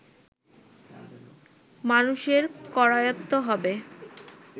মানুষের করায়ত্ত হবে